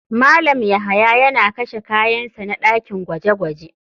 Malam yahya yana kashe kayan sa na dakin gwaje-gwaje.